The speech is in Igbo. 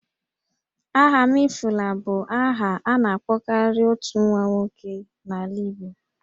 Ahamefula' bụ aha a na-akpọkarị otu nwa nwoke n'ala Igbo